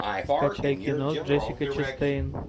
скачай кино с джессикой честейн